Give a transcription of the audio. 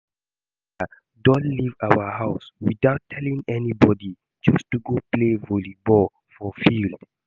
My sister don leave our house without telling anybody just to go play volley ball for field